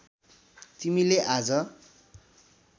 तिमीले आज